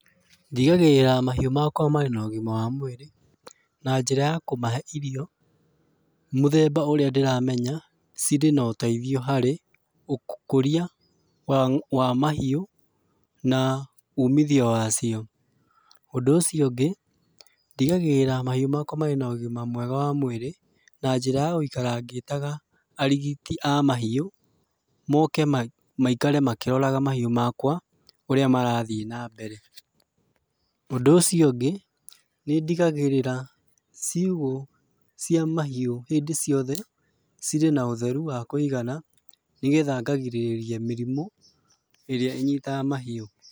Ndigagĩrĩra mahĩũ makwa marĩ na ũgima wa mwĩrĩ na njĩra ya kũmahe irio mũthemba ũria ndĩramenya cirĩ na ũteithio harĩ ũkũria wa mahiũ na ũmithio wa cio. Ũndũ ũcio ũngĩ ndigagĩrĩra mahĩũ makwa marĩ na ũgima mwega wa mũĩrĩ na njĩra ya gũikara ngĩtaga arigiti a mahiũ, moke maikare makĩroraga mahĩu makwa ũria marathiĩ na mbere. Ũndũ ũcio ũngĩ nĩndigagĩrĩra ciugũ cia mahiũ hĩndĩ ciothe cirĩ na ũtheru wa kũigana nĩgetha ngagirĩrĩria mĩrimũ ĩrĩa ĩnyitaga mahĩu.